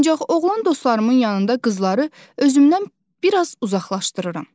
Ancaq oğlan dostlarımın yanında qızları özümdən bir az uzaqlaşdırıram.